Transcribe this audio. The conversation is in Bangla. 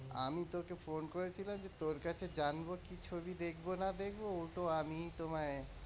আমি তোকে phone করেছিলাম যে তোর কাছে জানব কি ছবি দেখবো না দেখব ও তো আমিই তোমায়,